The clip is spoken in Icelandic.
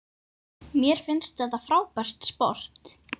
Mér finnst þetta frábært sport.